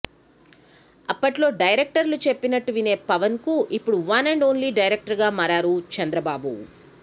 అప్పట్లో డైరెక్టర్లు చెప్పినట్టు వినే పవన్ కు ఇప్పుడు వన్ అండ్ ఓన్లీ డైరక్టర్ గా మారారు చంద్రబాబు